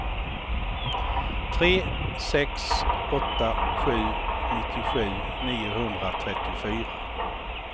tre sex åtta sju nittiosju niohundratrettiofyra